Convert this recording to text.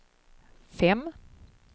fem